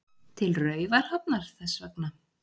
Til Raufarhafnar þess vegna.